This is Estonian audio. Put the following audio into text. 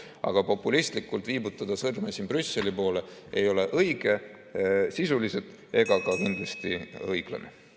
Aga populistlikult viibutada sõrme Brüsseli poole ei ole õige sisuliselt ega kindlasti ka mitte õiglane.